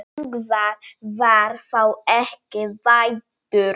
Ingvar var þá ekki fæddur.